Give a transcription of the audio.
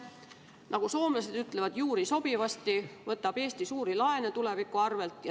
Nagu soomlased ütlevad, juuri sopivasti, võtab Eesti suuri laene tuleviku arvelt.